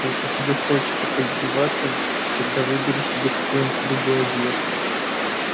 если тебе хочется поиздеваться тогда выбери себе какой-нибудь другой объект